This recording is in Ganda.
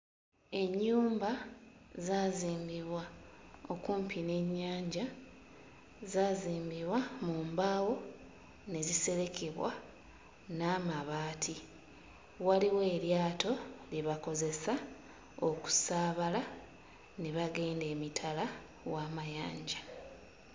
Ennyumba zaazimbibwa okumpi n'ennyanja. Zaazimbibwa mu mbaawo ne ziserekebwa n'amabaati, waliwo eryato lye bakozesa okusaabala ne bagenda emitala w'amayanja.